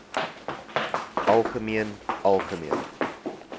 algemeen algemeen